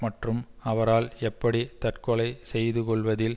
மற்றும் அவரால் எப்படி தற்றகொலை செய்துகொள்வதில்